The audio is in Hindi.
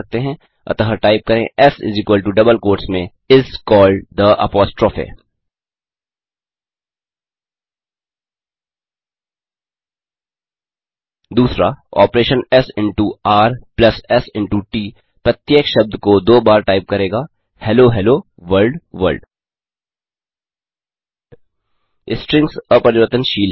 अतः टाइप करें एस डबल क्वोट्स में इस कॉल्ड थे अपोस्ट्रोफ 2ऑपरेशन एस इंटो र प्लस एस इंटो ट प्रत्येक शब्द को दो बार टाइप करेगा hello hello world world strings अपरिवर्तनशील हैं